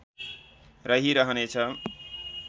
रहिरहने छ